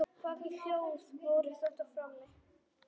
Hvaða hljóð voru þetta frammi?